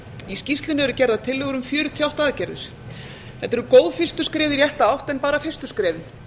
í skýrslunni eru gerðar tillögur um fjörutíu og átta aðgerðir þetta eru góð fyrstu skref í rétta átt en bara fyrstu skrefin